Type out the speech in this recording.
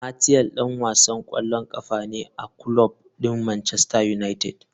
Martial dan wasan kwallon kafa ne a kulob din Manchester United.